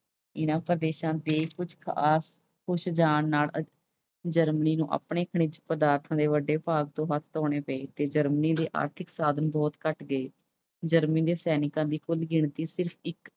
ਇਨ੍ਹਾਂ ਪ੍ਰਦੇਸ਼ਾਂ ਦੇ ਖੁੱਸ ਜਾਣ ਨਾਲ Germany ਨੂੰ ਆਪਣੇ ਖਣਿਜ ਪਦਾਰਥਾਂ ਦੇ ਵੱਡੇ ਭਾਗ ਤੋਂ ਹੱਥ ਧੋਣੇ ਪਏ ਤੇ Germany ਦੇ ਆਰਥਿਕ ਸਾਧਨ ਬਹੁਤ ਘਟ ਗਏ। Germany ਦੇ ਸੈਨਿਕਾਂ ਦੀ ਕੁੱਲ ਗਿਣਤੀ ਸਿਰਫ਼ ਇੱਕ